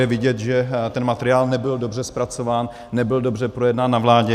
Je vidět, že ten materiál nebyl dobře zpracován, nebyl dobře projednán na vládě.